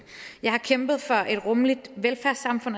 jeg har kæmpet for et rummeligt velfærdssamfund